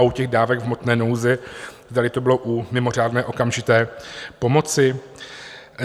A u těch dávek v hmotné nouzi, zdali to bylo u mimořádné okamžité pomoci?